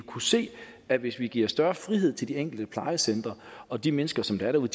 kunne se at hvis vi giver større frihed til de enkelte plejecentre og de mennesker som er derude